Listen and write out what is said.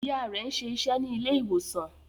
Ìyá rẹ̀ ń ṣe iṣẹ́ ní ilé ìwòsàn